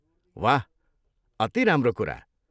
वाह! अति राम्रो कुरा।